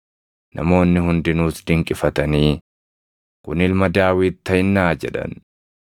Namoonni hundinuus dinqifatanii, “Kun Ilma Daawit taʼinnaa?” jedhan.